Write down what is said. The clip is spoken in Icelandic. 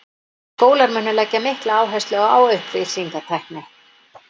Skólar munu leggja mikla áherslu á upplýsingatækni.